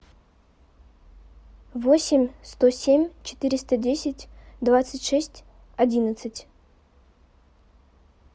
восемь сто семь четыреста десять двадцать шесть одиннадцать